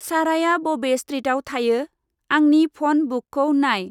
साराया बबे स्ट्रिटआव थायो, आंनि फन बुकखौ नाय।